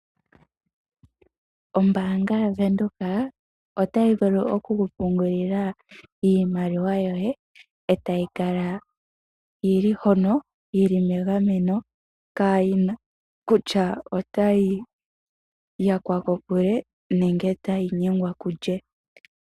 Ombaanga yaVenduka otayi vulu oku ku pungulila iimaliwa yoye e tayi kala yi li hono yi li megameno kaayi na kutya otayi yakwa ko kulye nenge tayi nyengwa kulye.